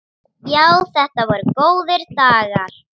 Já, þetta voru góðir dagar.